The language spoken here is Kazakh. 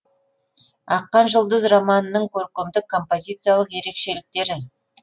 аққан жұлдыз романының көркемдік композициялық ерекшеліктері